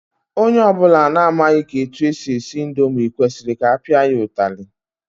Onye ọbụla na-amaghị etu e si esi indomi kwesịrị ka a pịa ya ụtalị.